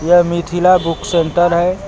यह Mithila book centre है।